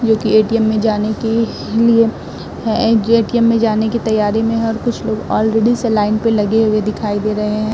जोकि एटीएम में जाने की लिए है जो एटीएम में जाने की तैयारी में है और कुछ लोग ऑलरेडी से लाइन पे लगे हुए दिखाई दे रहे हैं।